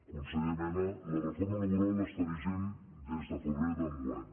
conseller mena la reforma labo·ral està vigent des de febrer d’enguany